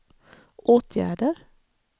åtgärder